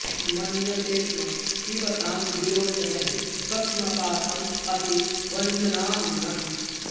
मन्यते स्म पिबतां विलोचनैः पक्ष्मपातं अपि वञ्चनां मनः